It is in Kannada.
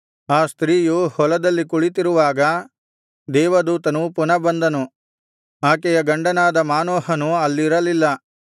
ಆ ಸ್ತ್ರೀಯು ಹೊಲದಲ್ಲಿ ಕುಳಿತಿರುವಾಗ ದೇವದೂತನು ಪುನಃ ಬಂದನು ಆಕೆಯ ಗಂಡನಾದ ಮಾನೋಹನು ಅಲ್ಲಿರಲಿಲ್ಲ